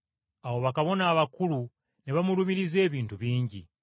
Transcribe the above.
Awo bakabona abakulu ne bamulumiriza ebintu bingi.